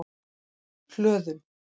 Hlöðum